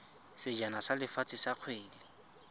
sejana sa lefatshe sa kgwele